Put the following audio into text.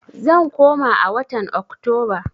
Zan koma a watan Oktoba.